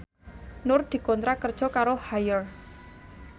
Nur dikontrak kerja karo Haier